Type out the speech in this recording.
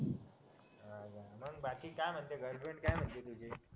मग बाकी काय म्हणतोय गर्लफ्रेंड काय म्हणतेय तुझी